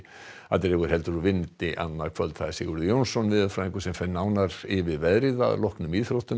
dregur heldur úr vindi annað kvöld Sigurður Jónsson veðurfræðingur fer nánar yfir veðrið að loknum íþróttum